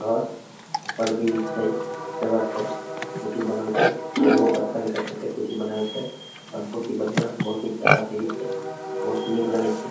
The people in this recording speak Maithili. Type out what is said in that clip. घर ऊपर भी छै जगह छै सीसी बनल छै ऊहो पत्थल के काट काट के सीढ़ी बनाएल छै और बहुत ही बढ़िया और बहुत ही प्यारा सीढ़ी छै बहुत ही निक लगे छै।